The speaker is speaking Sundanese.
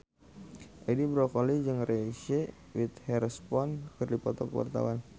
Edi Brokoli jeung Reese Witherspoon keur dipoto ku wartawan